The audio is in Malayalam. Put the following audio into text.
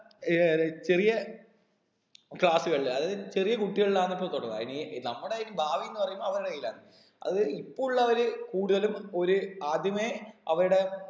ഏർ ടെ ചെറിയ class കളില് അതായത് ചെറിയ കുട്ടികളിലാണ് ഇപ്പൊ തുടങ്ങ അയിന് നമ്മുടെ ഈ ഭാവിന്ന് പറയുന്നത് അവരുടെ കയ്യിലാണ് അത് ഇപ്പൊ ഉള്ളവര് കൂടുതലും ഒര് ആദ്യമേ അവരുടെ